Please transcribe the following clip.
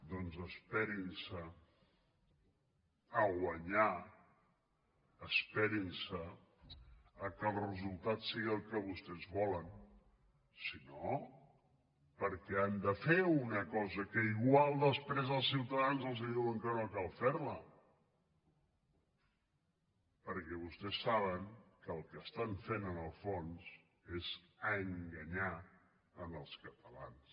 doncs esperin se a guanyar esperin se que els resultats siguin els que vostès volen si no per què han de fer una cosa que igual després els ciutadans els diuen que no cal fer la perquè vostès saben que el que estan fent en el fons és enganyar als catalans